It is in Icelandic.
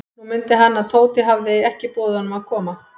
Nú mundi hann, að Tóti hafði ekki boðið honum að koma.